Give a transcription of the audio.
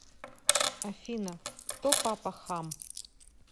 афина кто папа хам